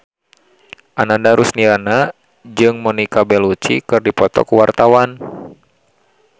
Ananda Rusdiana jeung Monica Belluci keur dipoto ku wartawan